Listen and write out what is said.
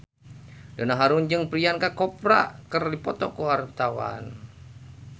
Donna Harun jeung Priyanka Chopra keur dipoto ku wartawan